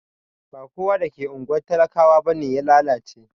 Ba kowa da ke ungwar talakawa bane ya lallace.